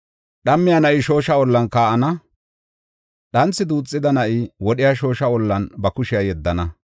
Dhammiya na7i shoosha ollan kaa7ana; dhanthi duuxida na7i wodhiya shoosha ollan ba kushiya yeddana.